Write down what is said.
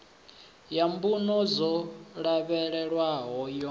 ya mbuno dzo lavhelelwaho yo